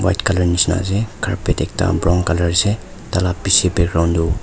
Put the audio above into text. white colour nishe na ase carpet ekta brown colour ase taila piche background toh.